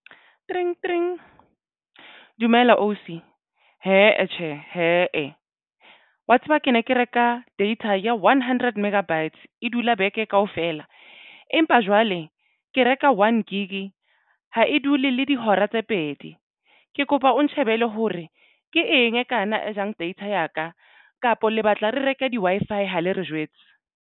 Tringtring dumela ausi hee tjhe hee wa tseba ke ne ke reka data ya one hundred megabytes. E dula beke kaofela empa jwale le ke reka. One Gig ha e dule le dihora tse pedi ke kopa o nshebele hore ke eng e kana e jang data ya ka kapa le batla re reke di-Wi-Fi ha le re jwetse.